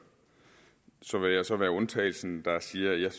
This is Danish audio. så vil jeg så være undtagelsen der siger at jeg